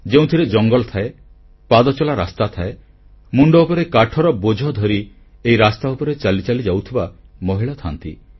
ଯେଉଁଥିରେ ଜଙ୍ଗଲ ଥାଏ ପାଦଚଲା ରାସ୍ତା ଥାଏ ମୁଣ୍ଡ ଉପରେ କାଠର ବୋଝଧରି ଏହି ରାସ୍ତା ଉପରେ ଚାଲି ଚାଲି ଯାଉଥିବା ମହିଳା ଥାନ୍ତି